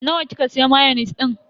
Nawa kika siya mayonis din?